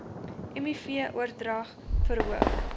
miv oordrag verhoog